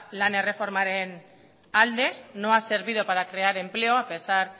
lan erreformaren alde no ha servido para crear empleo a pesar